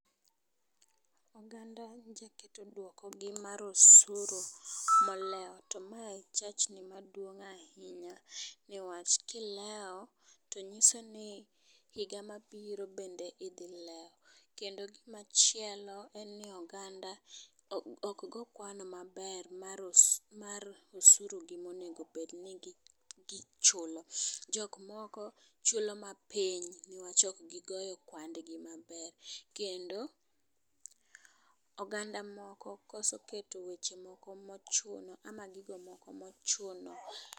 Oganda dwoko gi mar osuru molewo to ma en chachni maduong' ahinya newach kilewo ,to nyiso ni higa mabiro bende idhi lewo kendo gima chielo en ni oganda ok goo kwano maber mar osu mar osuru gi monego bed ni gichulo. Jok moko chulo mapiny newach ok gigoyo kwand gi maber kendo oganda moko koso keto weche moko mochuno ama gigo moko mochuno